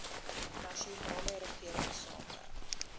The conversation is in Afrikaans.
nasionale regering saamwerk